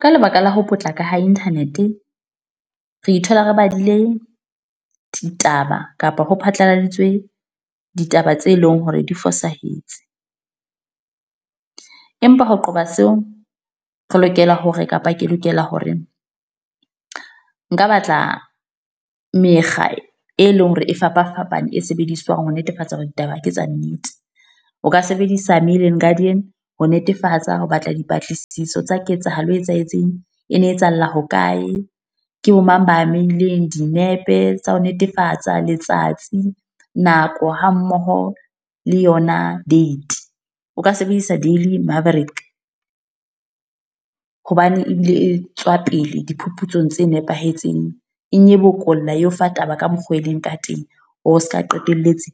Ka lebaka la ho potlako ha internet, re ithola re badile ditaba kapa ho phatlaladitswe ditaba tse leng hore di fosahetse. Empa ho qoba seo, re lokela hore kapa ke lokela hore, nka batla mekga, e leng hore e fapa fapane e sebediswang ho netefatsa hore ditaba ke tsa nnete. O ka sebedisa Mail and Guardian ho netefatsa ho batla dipatlisiso tsa ketsahalo e etsahetseng. E ne etsahala hokae, ke bo mang ba amehileng, dinepe tsa ho netefatsa, letsatsi, nako ha mmoho le yona date. O ka sebedisa Daily Maverick, hobane ebile e tswa pele diphuputsong tse nepahetseng. E nyebokolla eo fa taba ka mokgo e leng ka teng. O seka qetelletse,